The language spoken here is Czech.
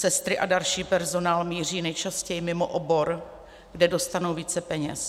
Sestry a další personál míří nejčastěji mimo obor, kde dostanou více peněz.